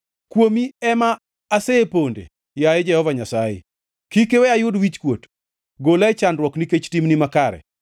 Kuomi ema aseponde, yaye Jehova Nyasaye, kik iwe ayud wichkuot; gola e chandruok nikech timni makare.